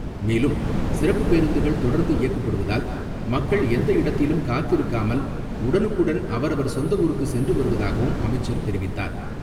மேலும், சிறப்புப் பேருந்துகள் தொடர்ந்து இயக்கப்படுவதால் மக்கள் எந்த இடத்திலும் காத்திருக்காமல் உடனுக்குடன் அவரவர் சொந்த ஊருக்கு சென்று வருவதாகவும் அமைச்சர் தெரிவித்தார்.